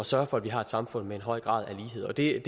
sørge for at vi har et samfund med en høj grad af lighed og det er